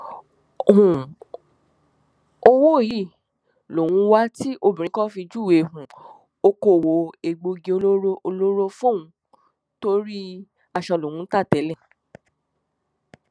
um owó yìí lòun ń wá tí obìnrin kan fi júwe um okòòwò egbòogi olóró olóró fóun torí aṣọ lòún ń ta tẹlẹ